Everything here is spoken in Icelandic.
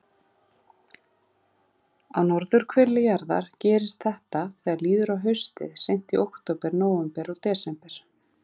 Á norðurhveli jarðar gerist þetta þegar líður á haustið, seint í október, nóvember og desember.